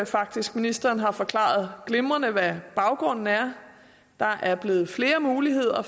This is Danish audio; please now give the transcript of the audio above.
faktisk ministeren har forklaret glimrende hvad baggrunden er der er blevet flere muligheder